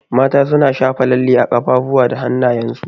Mata na shafa lalle a kafafuwa da hanayen su.